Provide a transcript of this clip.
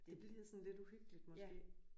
Det bliver sådan lidt uhyggeligt måske?